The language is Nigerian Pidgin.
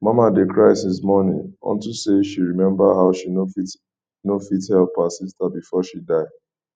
mama dey cry since morning unto say she remember how she no fit no fit help her sister before she die